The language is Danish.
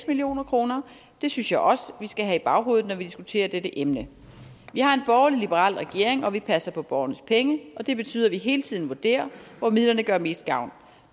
million kroner det synes jeg også vi skal have i baghovedet når vi diskuterer dette emne vi har en borgerlig liberal regering og vi passer på borgernes penge og det betyder at vi hele tiden vurderer hvor midlerne gør mest gavn